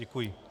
Děkuji.